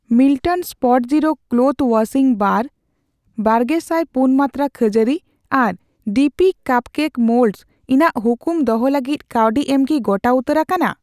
Milton Spotzero cloths washing brush, ᱵᱟᱨᱜᱮᱥᱟᱭ ᱯᱩᱱ ᱢᱟᱱᱛᱨᱟ ᱠᱷᱟᱹᱡᱟᱹᱲᱤ, ᱟᱨ ᱰᱤᱯᱤ ᱠᱟᱯᱠᱮᱠ ᱢᱳᱞᱰᱥ ᱤᱧᱟᱜ ᱦᱩᱠᱩᱢ ᱫᱚᱦᱚ ᱞᱟᱹᱜᱤᱫ ᱠᱟᱹᱣᱰᱤ ᱮᱢ ᱠᱤ ᱜᱚᱴᱟ ᱩᱛᱟᱹᱨ ᱟᱠᱟᱱᱟ ?